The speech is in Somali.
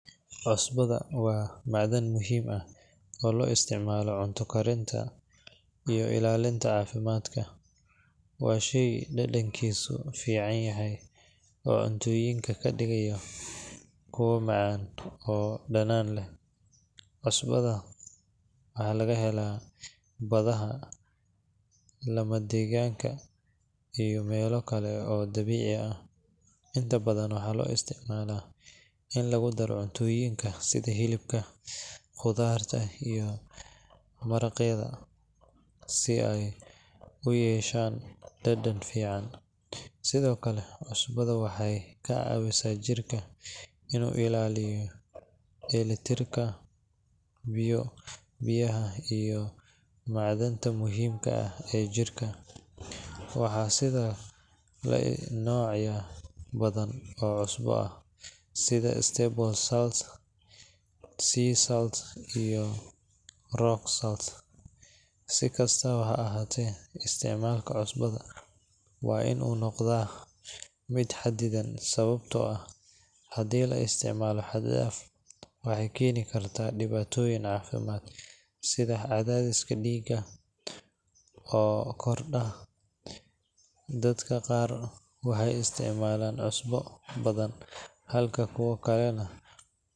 Cusbada waa macdan muhiim ah oo loo isticmaalo cunto karinta iyo ilaalinta caafimaadka. Waa shey dhadhankiisu fiican yahay oo cunnooyinka ka dhigaya kuwo macaan oo dhadhan leh. Cusbada waxaa laga helaa badaha, lamadegaanka, iyo meelo kale oo dabiici ah. Inta badan waxaa loo isticmaalaa in lagu daro cuntooyinka sida hilibka, khudradda, iyo maraqyada si ay u yeeshaan dhadhan fiican. Sidoo kale, cusbada waxay ka caawisaa jirka inuu ilaaliyo dheelitirka biyaha iyo macdanta muhiimka ah ee jidhka. Waxaa jira noocyo badan oo cusbo ah sida table salt, sea salt, iyo rock salt. Si kastaba ha ahaatee, isticmaalka cusbada waa in uu noqdaa mid xaddidan sababtoo ah haddii la isticmaalo xad-dhaaf, waxay keeni kartaa dhibaatooyin caafimaad sida cadaadiska dhiigga oo kordha. Dadka qaar waxay isticmaalaan cusbo badan halka kuwa kalena.